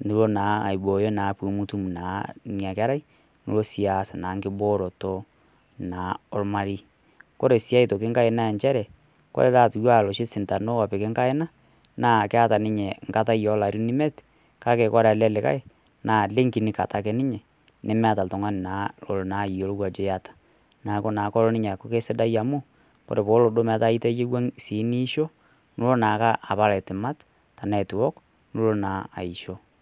niwok naa pee mitum ena kerai nilo naa aas tenkiboroto ormarei ore oloshi sindano lipik enkaina naa keeta limit olarin emiet ore ele naa meeta ninye limit naa meeta oltung'ani olo ayiolou Ajo eyata neeku kisidai ore pee etayiwua nimisho nimiwok niton eitu ewok nilo naa aisho